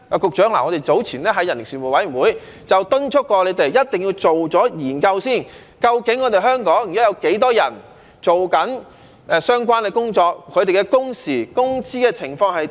局長，我們早前在人力事務委員會便敦促過你們一定要先做研究，了解究竟香港現時有多少人正在做相關的工作，他們的工時、工資的情況是如何。